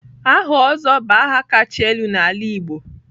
Aha Ozo bụ aha kacha elu n'ala Igbo.